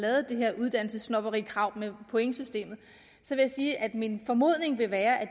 er det her uddannelsessnobberikrav med pointsystemet at min formodning vil være at